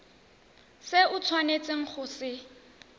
se o tshwanetseng go se